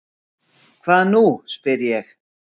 Hvað nú? spyr ég.